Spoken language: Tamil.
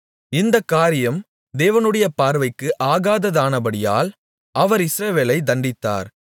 இந்தக் காரியம் தேவனுடைய பார்வைக்கு ஆகாததானபடியால் அவர் இஸ்ரவேலைத் தண்டித்தார்